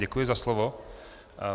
Děkuji za slovo.